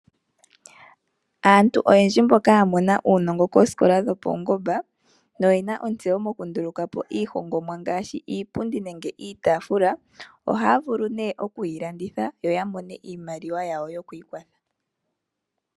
Aantu oyendji mboka ya mona uunongo koskola dhopaungomba noyena otseyo mokundulukapo iihongomwa ngashi iipundi nenge iitafula ohaya vulu ne okuyi landitha yo yamone iimaliwa yawo yoku ikwatha.